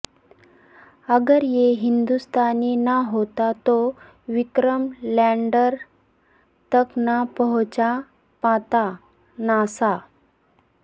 اگر یہ ہندوستانی نہ ہوتا تو وکرم لینڈر تک نا پہنچا پاتا ناسا